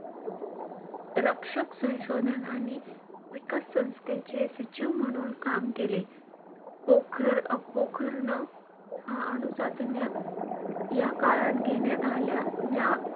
रक्षक संशोधन आणि विकास संस्थेचे सचिव म्हणून काम केले. पोखर~ पोखरण हा अनु चाचण्या या काळात घेण्यात आल्या. ज्या,